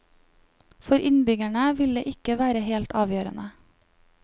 For innbyggerne vil det ikke være helt avgjørende.